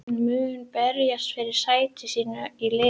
Hann mun berjast fyrir sæti sínu í liðinu.